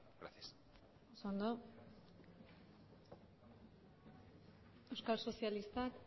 gracias oso ondo euskal sozialistak